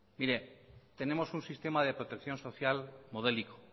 mire tenemos un sistema de protección social modélico